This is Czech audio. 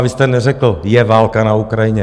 A vy jste neřekl, je válka na Ukrajině.